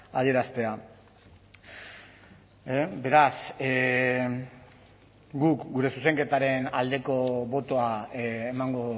adieraztea beraz guk gure zuzenketaren aldeko botoa emango